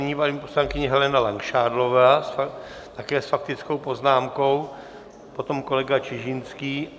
Nyní paní poslankyně Helena Langšádlová, také s faktickou poznámkou, potom kolega Čižinský.